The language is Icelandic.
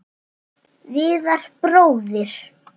Viðar bróðir.